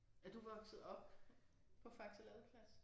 Er du vokset op på Faxe Ladeplads?